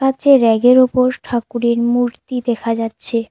কাঁচের রেগের ওপর ঠাকুরের মূর্তি দেখা যাচ্ছে।